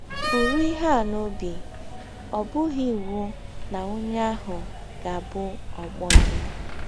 Bụrụ ihe a n’ọbi: Ọ bụghị iwụ na ọnye ahụ ga - abụ ọgbọ gị.